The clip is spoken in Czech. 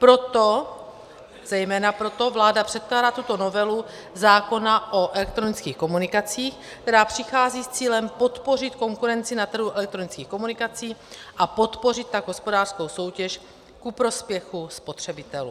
Proto, zejména proto vláda předkládá tuto novelu zákona o elektronických komunikacích, která přichází s cílem podpořit konkurenci na trhu elektronických komunikací a podpořit tak hospodářskou soutěž ku prospěchu spotřebitelů.